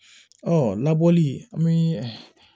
Ɔ labɔli an bi